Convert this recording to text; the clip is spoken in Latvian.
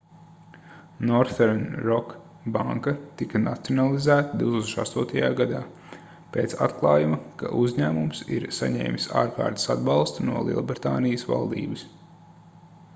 northern rock banka tika nacionalizēta 2008. gadā pēc atklājuma ka uzņēmums ir saņēmis ārkārtas atbalstu no lielbritānijas valdības